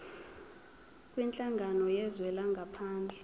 kwinhlangano yezwe langaphandle